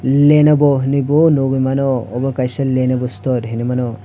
lenovo hinui bo nugoi mano abo kaisa lenovo store hinui mano.